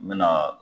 N bɛ na